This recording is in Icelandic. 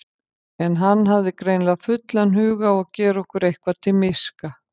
En hann hafði greinilega fullan hug á að gera okkur eitthvað til miska.